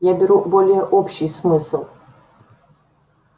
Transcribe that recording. я беру более общий смысл